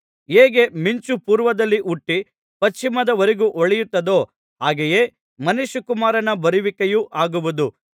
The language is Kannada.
ಹೇಗೆ ಮಿಂಚು ಪೂರ್ವದಲ್ಲಿ ಹುಟ್ಟಿ ಪಶ್ಚಿಮದ ವರೆಗೂ ಹೊಳೆಯುತ್ತದೋ ಹಾಗೆಯೇ ಮನುಷ್ಯಕುಮಾರನ ಬರುವಿಕೆಯೂ ಆಗುವುದು